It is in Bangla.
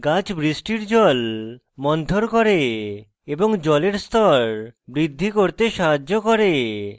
গাছ বৃষ্টির জল মন্থর করে এবং জলের স্তর বৃদ্ধি করতে সাহায্য করে